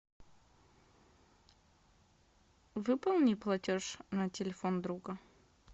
выполни платеж на телефон друга